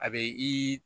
A be i